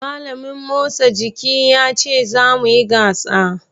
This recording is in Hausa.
Malamin motsa jiki(PHE) yace za mu yi gasa.